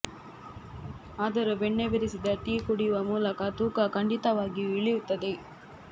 ಆದರೂ ಬೆಣ್ಣೆ ಬೆರೆಸಿದ ಟೀ ಕುಡಿಯುವ ಮೂಲಕ ತೂಕ ಖಂಡಿತವಾಗಿಯೂ ಇಳಿಯುತ್ತದೆ